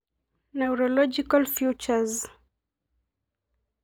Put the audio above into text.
Naurological features.